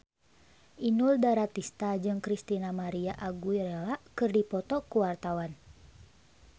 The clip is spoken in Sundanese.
Inul Daratista jeung Christina María Aguilera keur dipoto ku wartawan